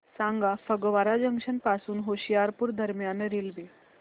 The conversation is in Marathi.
सांगा फगवारा जंक्शन पासून होशियारपुर दरम्यान रेल्वे